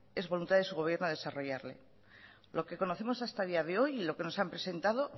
es voluntad de su gobierno desarrollarla lo que conocemos hasta el día de hoy y lo que nos han presentado